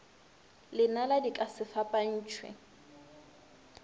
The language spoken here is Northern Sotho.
lenala di ka se fapantšhwe